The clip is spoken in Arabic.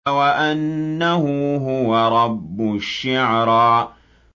وَأَنَّهُ هُوَ رَبُّ الشِّعْرَىٰ